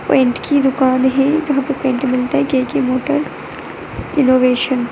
paint की दुकान है जहाँ पर पेन्ट मिलता है के_के मोटर इनोवेशन |